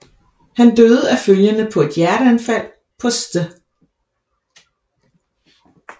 Han døde af følgerne på et hjerteanfald på St